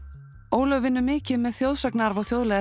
Ólöf vinnur mikið með þjóðsagnaarf og þjóðlegar